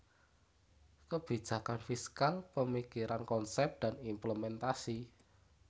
Kebijakan Fiskal Pemikiran Konsep dan Implementasi